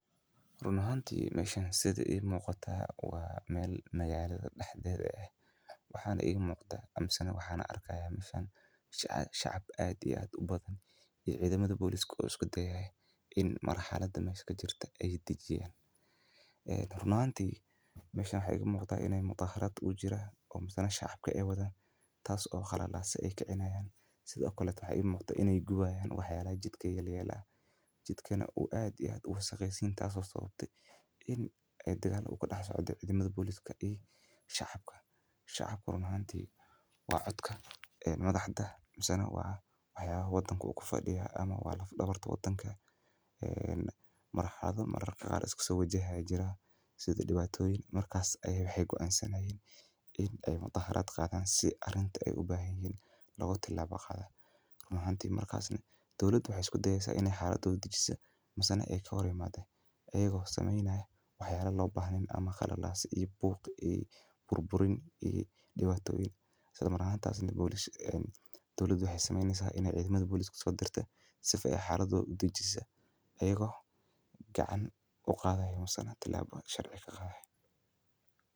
runaantii mayshana sida ay muuqata waa meel magaalada dhexdeeda ah. Waxaan ayay muuqata amin sana waxaana arkaya mifan shacab caadi aad u badan iyo cidi madabaalliso isku dayaya in maraxaada danbeyska jirta ay dib jeedin. Runaantii, meshani waxay muuqata inay mudaharaad u jira oo masana shaaca ka ewadan taas oo khalo laase ay ka cinayaan. Sidoo kale waxay muuqata inay guwaayaan waxyaalaha jidka ee yeleyaa. Jidkeenna uu caadi ahaan uu sagaysiin taas oo sababta in ay degaano u kala so dirin cidimaad bulshadu ku shacabka. Shacabka runaantii waa codka madaxda masana waa hayaha waddanka ugu fadhiya ama waa la fudubartaa waddanka. Maraxaadu mararka gaadh isugu wajaha jiraa sidii dhibaatoyin markasta ay waxay go'aansanayeen in ay mudaharaad qaadaan si arinta ay u baahan yin loogu tilaa baaqada. Runaantii markaasna dowladu waxay isku daysaa inay xaaladu dijiisa maasna ay ka horeymaadeen. Ayagoo sameynayo waxyaalo loo baahnayn ama kheiri illahi se iyo booq bur burin iyo dhibaatoyin. Sidoo maran taas intuu booliis dawladda waxay sameynaysaa inay cidmaad booliiska soo dirto si fa iyo xaaladu dijiisa. Ayago gacan u qaaday masana tillaabo sharci ka qaaday?